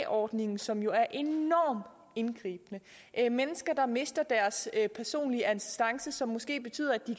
ordningen som jo er enormt indgribende mennesker mister deres personlige assistance som måske betyder at de